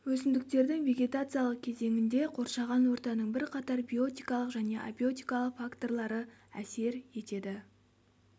өсімдіктің вегетациялық кезеңінде қоршаған ортаның бірқатар биотикалық және абиотикалық факторлары әсер етеді